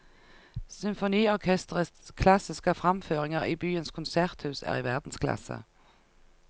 Symfoniorkesterets klassiske framføringer i byens konserthus er i verdensklasse.